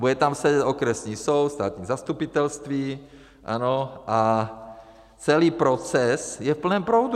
Bude tam sedět okresní soud, státní zastupitelství, ano, a celý proces je v plném proudu.